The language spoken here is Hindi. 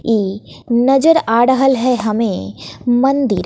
ई नजर आढ़ल है हमे मंदिर--